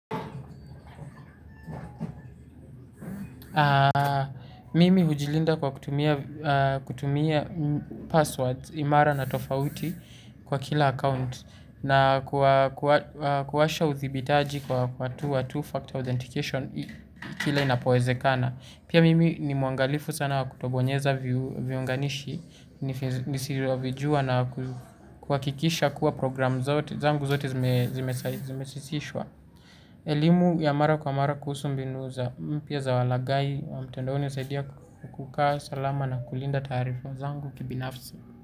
Mimi hujilinda kwa kutumia kutumia passwords imara na tofauti kwa kila account. Na kuwasha uthibitaji kwa two-factor authentication kila inapoezekana. Pia mimi ni muangalifu sana kutobonyeza viunganishi nisivyovijua na kuhakikisha kuwa program zangu zote zimesisishwa. Elimu ya mara kwa mara kuhusu mbinu za mpya za walagai wa mtandaoni usaidia ku kukaa salama na kulinda taarifa zangu kibinafsi.